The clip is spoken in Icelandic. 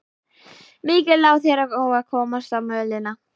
Mikið lá þér á að komast á mölina.